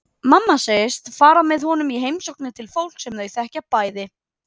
Mamma segist fara með honum í heimsóknir til fólks sem þau þekkja bæði.